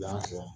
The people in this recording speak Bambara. Yan